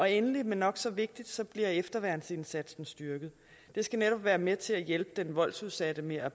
endelig men nok så vigtigt bliver efterværnsindsatsen styrket det skal netop være med til at hjælpe den voldsudsatte med at